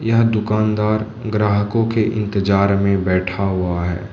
यहां दुकानदार ग्राहकों के इंतजार में बैठा हुआ है।